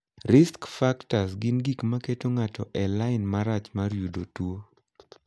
Risk factors' gin gik ma keto ng'ato e lai marach mar yudo tuo.